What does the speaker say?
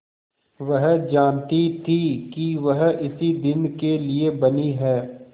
वह जानती थी कि वह इसी दिन के लिए बनी है